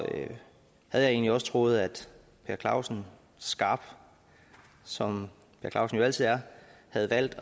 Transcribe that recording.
havde jeg egentlig også troet at per clausen skarp som per clausen jo altid er havde valgt